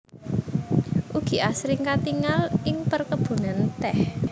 Ugi asring katingal ing perkebunan teh